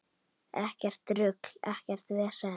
Ekkert rugl, ekkert vesen.